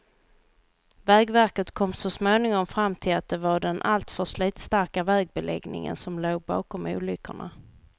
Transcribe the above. Vägverket kom så småningom fram till att det var den alltför slitstarka vägbeläggningen som låg bakom olyckorna.